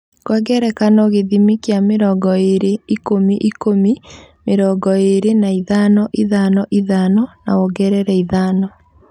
Kwa ngerekano gĩthimi kĩa mĩrongo ĩrĩ - ikũmi - ikũmi, mĩringo ĩri na ithano -ithano- ithano na wongerere ithano